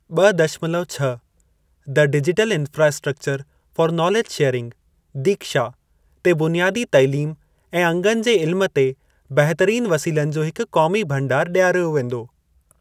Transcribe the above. ॿ दशमलव छह द digital infrastructure for knowledge sharing (दीक्षा) ते बुनियादी तइलीम ऐं अंगनि जे इल्म ते बहितरीन वसीलनि जो हिकु क़ौमी भंडार ॾियारियो वेंदो।